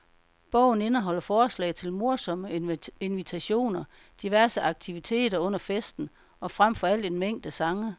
Bogen indeholder forslag til morsomme invitationer, diverse aktiviteter under festen, og frem for alt en mængde sange.